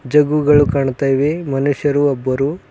ಜಗ್ಗು ಗಳು ಕಾಣ್ತಾ ಇವೆ ಮನುಷ್ಯರು ಒಬ್ಬರು--